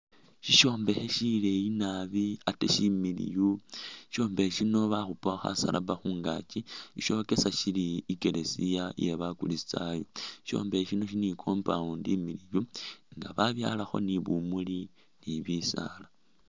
Sishombekhe shileyi naabi ate shimiliyu shishombekhe shino bakhupakho khasalaba khungaakyi shokesa shili ikeresiya iye ba'kuristayo shishombekhe shino shili ni'compound nga babyalakho ni bumuli ni bisaala